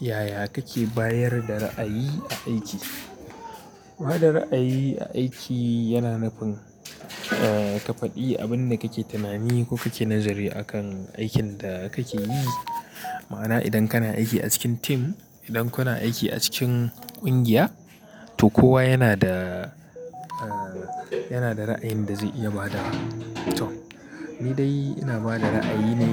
Yaya kake bayar da ra'ayi a aiki? Ba da ra'ayi a aiki yana nufin ka faɗi abin da kake tunani ko kake nazari akan aikin da kake yi. Ma'ana idan kana aiki a cikin tim, idan kuna aiki a cikin ƙungiya, to kowa yana da, yana da ra'ayin da zai iya ba da. To ni dai ina ba da ra'ayi ne